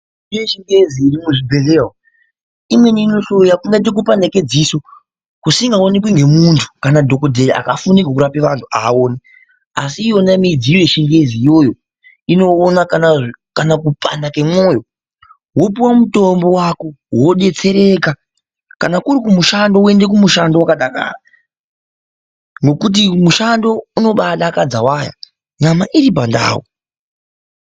Mitombo yechingezi urimo muzvibhehleya umu imweni inohloya kupanda kwedziso kusingaonekwi nemuntu kana dhokodheya akafunda zvekurapa vantu haaoni ASI iyona midziyo yechingezi iyoyo inokona kana kupanda kwemwoyo wopuwa mutombo wako wodetsereka kana kuri kumushando woenda wakadakara nekuti mushando inodakadza waya nyama iri pandau.